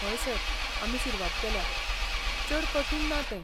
हय सर, आमी सुरवात केल्या, चड कठीण ना तें.